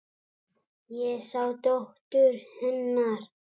Ég sá dóttur. hennar.